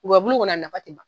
Gɔyɔbulu kɔni a nafa ti ban.